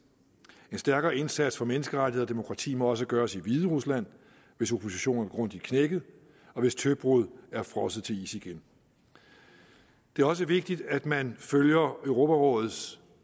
en stærkere indsats for menneskerettigheder og demokrati må også gøres i hviderusland hvis opposition er grundigt knækket og hvis tøbrud er frosset til is igen det er også vigtigt at man følger europarådets